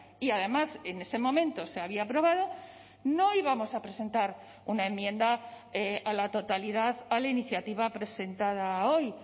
y además en ese momento se había aprobado no íbamos a presentar una enmienda a la totalidad a la iniciativa presentada hoy